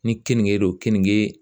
Ni keninge don keninge